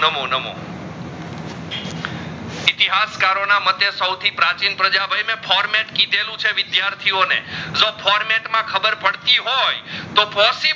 આત કરો ના મટે સ્વથી પ્રાચીન પ્રજા ભાઈ મે format કીધેલું છે વિદ્યાર્થીઓ ને લો format માં ખબર પડતી હોય તો પોસી